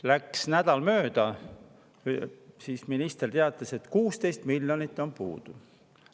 Läks nädal mööda, siis minister teatas, et 16 miljonit on puudu.